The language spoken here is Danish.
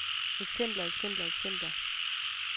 eksempler eksempler eksempler